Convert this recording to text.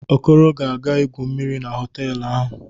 Okoro ga-aga igwu mmiri na họtelụ ahụ.